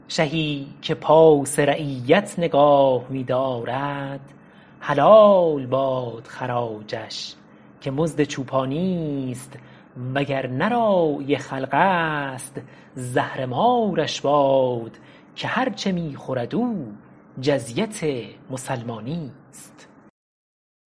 شهی که پاس رعیت نگاه می دارد حلال باد خراجش که مزد چوپانیست وگر نه راعی خلق است زهرمارش باد که هر چه می خورد او جزیت مسلمانیست